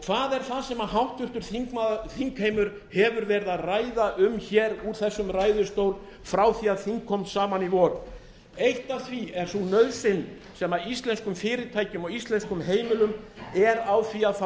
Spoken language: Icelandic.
hvað er það sem háttvirtur þingheimur hefur verið að ræða um úr þessum ræðustól frá því að þing kom saman í vor eitt af því er sú nauðsyn sem íslenskum fyrirtækjum og íslenskum heimilum er á því að fá